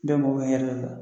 Bɛ mɔgɔ ka hɛrɛ le la